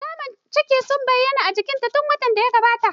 Alamu ciki sun bayyana a jikinta tun watan da ya gabata.